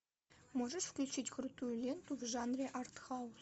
можешь включить крутую ленту в жанре артхаус